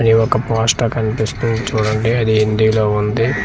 ఇది ఒక పోస్టార్ కనిపిస్తుంది చూడండి అది హిందీ లో ఉంది.